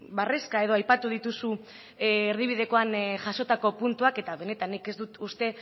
barrezka edo aipatu dituzu erdibidekoan jasotako puntuak eta benetan nik ez dut uste